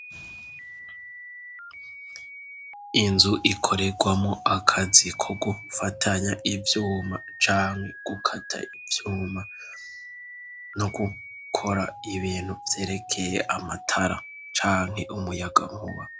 Inzu ikorerwamo akazi ko gufatanya ivyuma canke gukata ivyuma no gukora ibintu vyerekeye amatara canke umuyaga muba.